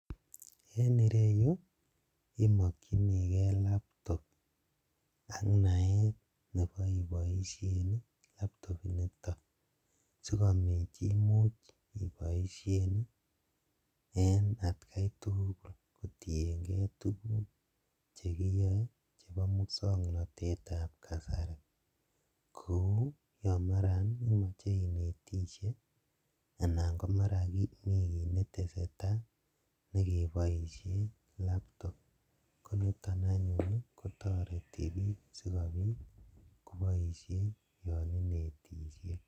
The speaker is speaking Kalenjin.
En ireyuu omokyinikee laptop ak naet neboo iboishen laptop initon sikobiit imuuch iboishen en atkai tukul kotieng'ee tukuk chekiyoen chebo muswoknotetab kasari kouu yoon maran imoche inetishe anan komara Mii kiit netesetaa nekiboishen laptop koniton anyun kotoreti biik sikobiit koboishen yoon inetishe.